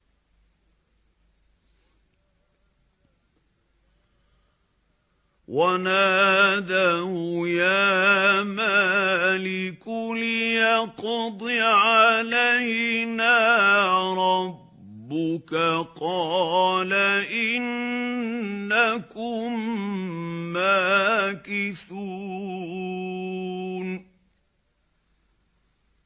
وَنَادَوْا يَا مَالِكُ لِيَقْضِ عَلَيْنَا رَبُّكَ ۖ قَالَ إِنَّكُم مَّاكِثُونَ